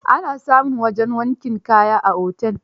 Ana samun wajen wankin kaya a otel